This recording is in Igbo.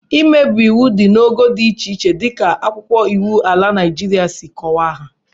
Mmebi iwu dị n'ogo dị iche iche dịka akwụkwọ iwu ala Naịjiria si kọwaa ha